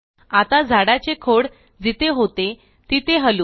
आता झाडाचे खोड जिथे होते तिथे हलवू